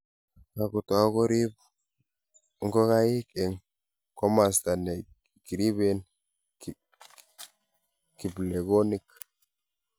kakutou kuriib ngokaik eng' komosta ne riben kiplekonik